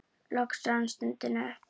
Loks rann stundin upp.